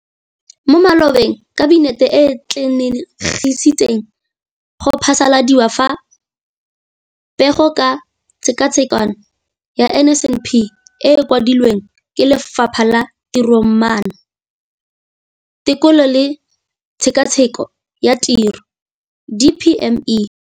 Mo malobeng Kabinete e atlenegisitse go phasaladiwa ga Pegelo ka Tshekatsheko ya NSNP e e kwadilweng ke Lefapha la Tiromaano, Tekolo le Tshekatsheko ya Tiro, DPME].